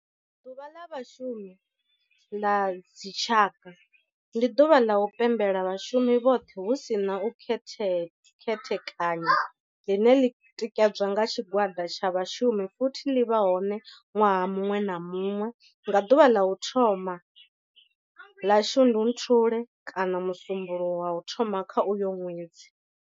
Ḓuvha la Vhashumi la dzi tshaka, ndi duvha la u pembela vhashumi vhothe hu si na u khethekanya line li tikedzwa nga tshigwada tsha vhashumi futhi li vha hone nwaha munwe na munwe nga duvha la u thoma 1 la Shundunthule kana musumbulowo wa u thoma kha uyo nwedzi.